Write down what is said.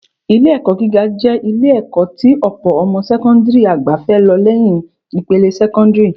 Ilé-ẹ̀kọ́ gíga jẹ́ Ilé-ẹ̀kọ́ tí ọ̀pọ̀ ọmọ sẹ́kọ́ńdìrì àgbà fẹ́ lọ lẹ́yìn ìpele sẹ́kọ́ńdìrì